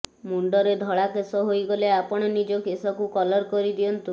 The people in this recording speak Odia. ମୁଣ୍ଡରେ ଧଳା କେଶ ହୋଇଗଲେ ଆପଣ ନିଜ କେଶକୁ କଲର କରି ଦିଅନ୍ତୁ